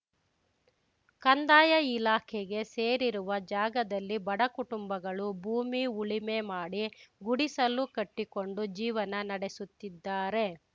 ಕಂದಾಯ ಇಲಾಖೆಗೆ ಸೇರಿರುವ ಜಾಗದಲ್ಲಿ ಬಡ ಕುಟುಂಬಗಳು ಭೂಮಿ ಉಳಿಮೆ ಮಾಡಿ ಗುಡಿಸಲು ಕಟ್ಟಿಕೊಂಡು ಜೀವನ ನಡೆಸುತ್ತಿದ್ದಾರೆ